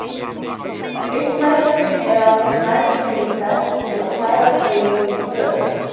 Einn mælti með að þeir næðu sér í prest til að særa drauginn í gröfina.